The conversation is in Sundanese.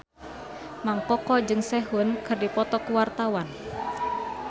Mang Koko jeung Sehun keur dipoto ku wartawan